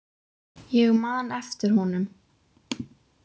Ég man eftir honum.